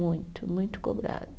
Muito, muito cobrada.